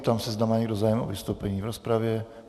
Ptám se, zda má někdo zájem o vystoupení v rozpravě?